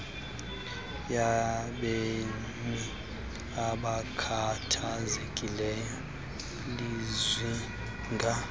yabemi abakhathazekileyo lizinga